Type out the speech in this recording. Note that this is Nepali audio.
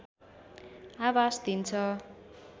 आभाष दिन्छ